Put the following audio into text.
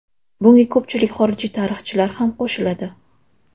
Bunga ko‘pchilik xorijiy tarixchilar ham qo‘shiladi.